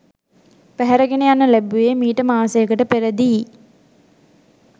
පැහැර ගෙන යනු ලැබුවේ මීට මාසයකට පෙරදීයි